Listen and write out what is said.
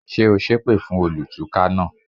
Ṣé o sépè fún olùtúká náà?